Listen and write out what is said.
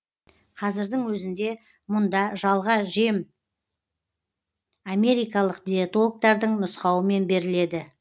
қазірдің өзінде мұнда жалға жем америкалық диетологтардың нұсқауымен беріледі